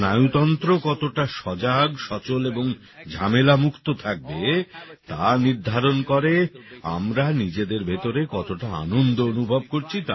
আমদের স্নায়ুতন্ত্র কতটা সজাগ সচল এবং ঝামেলা মুক্ত থাকবে তা নির্ধারণ করে আমরা নিজেদের ভেতরে কতটা আনন্দ অনুভব করছি তার ওপর